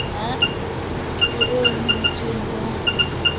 ho eo ho itsweng ho